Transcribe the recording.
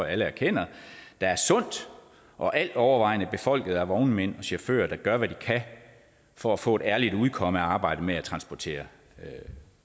alle erkender der er sundt og altovervejende befolket af vognmænd og chauffører der gør hvad de kan for at få et ærligt udkomme af arbejdet med at transportere